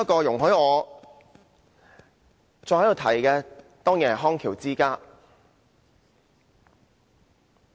容許我再一次提出康橋之家的個案。